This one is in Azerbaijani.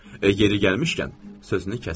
Yeri gəlmişkən, sözünü kəsdim.